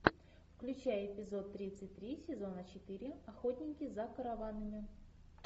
включай эпизод тридцать три сезона четыре охотники за караванами